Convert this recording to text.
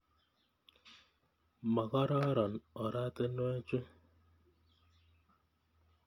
Makororon oratinwek chu.